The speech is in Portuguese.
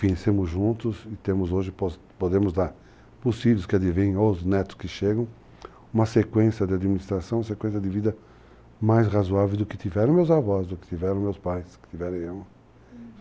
Vencemos juntos e temos hoje, podemos dar, possíveis que adivinhem, os netos que chegam, uma sequência de administração, sequência de vida mais razoável do que tiveram meus avós, do que tiveram meus pais, do que tiveram eu.